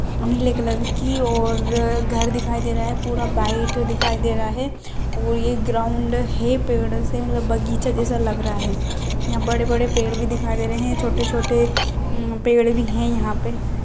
नीले कलर की और घर दिखाई दे रहा है पूरा वाइट दिखाई दे रहा है और ये ग्राउंड है पेड़ से मतलब बगीचा जैसा लग रहा है यहाँ बड़े-बड़े पेड़ भी दिखाई दे रहे हैं छोटे-छोटे पेड़ भी हैं यहाँ पे।